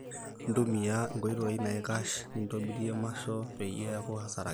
ntumia enkoitoi naikash nintobirie maso peyie eeku hasara kiti